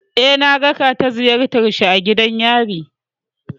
Eh, na raka ta ziyartar shi a gidan yari.